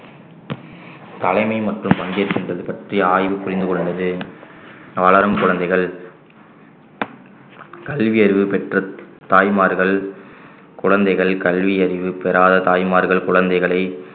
தலைமை மற்றும் பங்கேற்கின்றது பற்றி ஆய்வு புரிந்து கொள்கிறது வளரும் குழந்தைகள் கல்வியறிவு பெற்ற தாய்மார்கள் குழந்தைகள் கல்வியறிவு பெறாத தாய்மார்கள் குழந்தைகளை